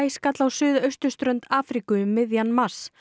skall á suðausturströnd Afríku um miðjan mars